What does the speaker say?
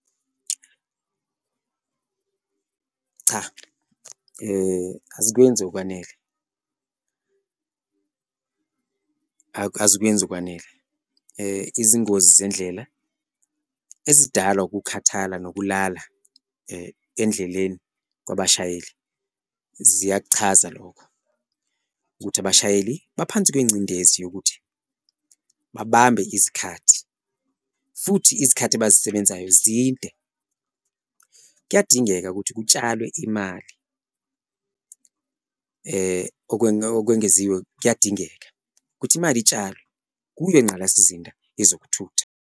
Cha azikwenzi okwanele, azikwenzi okwanele izingozi zendlela lo ezidalwa ukukhathala nokulala endleleni kwabashayeli ziyakuchaza lokhu, ukuthi abashayeli baphansi kwengcindezi yokuthi babambe izikhathi futhi izikhathi abazisebenzayo zinde. Kuyadingeka ukuthi kutshalwe imali okwengeziwe kuyadingeka ukuthi imali itshalwe kuyo ingqalasizinda yezokuthutha.